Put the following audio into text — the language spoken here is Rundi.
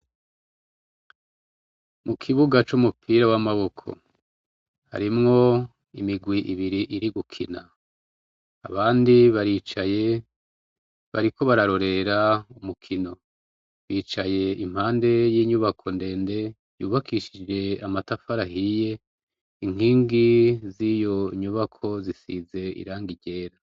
Mu kibuga c'umupira w'amaboko harimwo imigwi ibiri iri gukina, abandi baricaye bariko bararorera umukino, bicaye impande y'inyubako ndende yubakishije amatafari ahiye, inkingi z'iyo nyubako zisize irangi ryera.